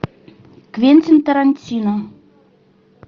квентин тарантино